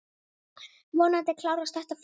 Vonandi klárast þetta fljótt.